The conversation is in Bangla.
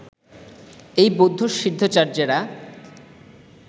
এই বৌদ্ধ সিদ্ধাচার্য্যেরা